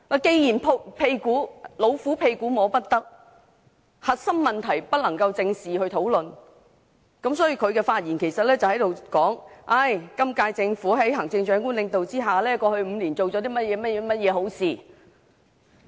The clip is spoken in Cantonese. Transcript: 既然"老虎屁股摸不得"，核心問題就不能夠正視及討論，司長接着在發言中便指出在行政長官領導之下，今屆政府過去5年做了甚麼好事。